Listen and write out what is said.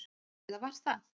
Eða var það?